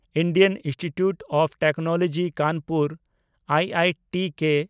Indian institute of technology Kanpur (I I T K)